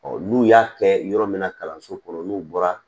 n'u y'a kɛ yɔrɔ min na kalanso kɔnɔ n'u bɔra